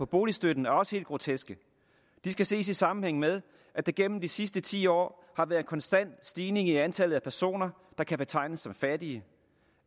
boligstøtten er også helt groteske de skal ses i sammenhæng med at der gennem de sidste ti år har været en konstant stigning i antallet af personer der kan betegnes som fattige